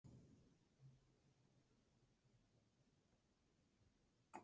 Innri gleði.